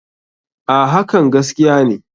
A.hakan gaskiya ne.